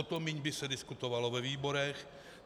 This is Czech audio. O to méně by se diskutovalo ve výborech.